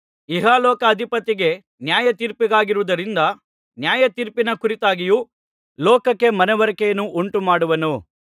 ಇಹಲೋಕಾಧಿಪತಿಗೆ ನ್ಯಾಯತೀರ್ಪಾಗಿರುವುದರಿಂದ ನ್ಯಾಯತೀರ್ಪಿನ ಕುರಿತಾಗಿಯೂ ಲೋಕಕ್ಕೆ ಮನವರಿಕೆಯನ್ನು ಉಂಟುಮಾಡುವನು